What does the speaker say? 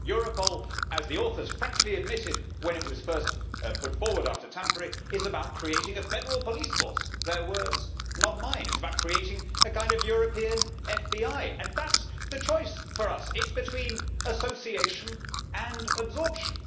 Europol, as the authors frankly admitted when it was first put forward after Tampere, is about creating a federal police force their words, not mine. It is about creating a kind of European FBI and that is the choice for us. It is between association and absorption.